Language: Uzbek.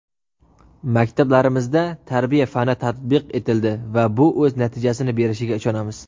Maktablarimizda tarbiya fani tatbiq etildi va bu o‘z natijasini berishiga ishonamiz.